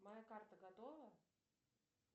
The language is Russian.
моя карта готова